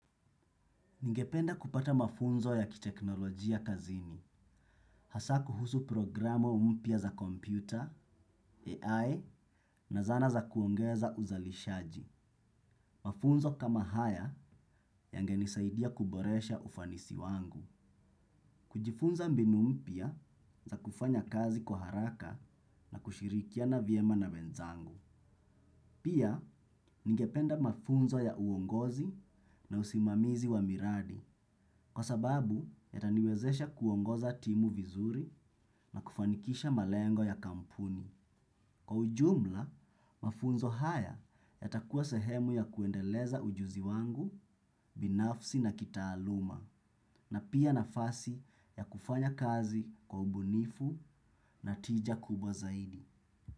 Ningependa kupata mafunzo ya kiteknolojia kazini. Hasa kuhusu programo mpya za kompyuta, AI na zana za kuongeza uzalishaji. Mafunzo kama haya yangenisaidia kuboresha ufanisi wangu. Kujifunza mbinu mpya za kufanya kazi kwa haraka na kushirikiana viema na wenzangu. Pia, ningependa mafunzo ya uongozi na usimamizi wa miradi. Kwa sababu, yataniwezesha kuongoza timu vizuri na kufanikisha malengo ya kampuni. Kwa ujumla, mafunzo haya yatakuwa sehemu ya kuendeleza ujuzi wangu, binafsi na kitaaluma, na pia nafasi ya kufanya kazi kwa ubunifu na tija kubwa zaidi.